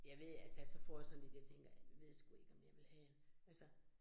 Jeg ved, altså så får jeg sådan lidt, jeg tænker, ved sgu ikke om jeg vil have altså